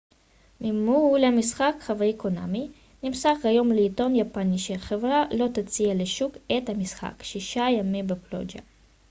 ממו ל המשחק חב' קונאמי נמסר היום לעיתון יפני שהחברה לא תוציא לשוק את המשחק שישה ימים בפלוג'ה